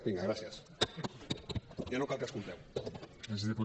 vinga gràcies ja no cal que escolteu